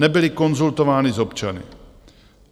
Nebyly konzultovány s občany.